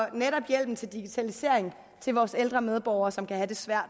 hjælpen til digitalisering til vores ældre medborgere som kan have det svært